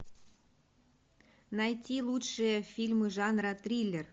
найти лучшие фильмы жанра триллер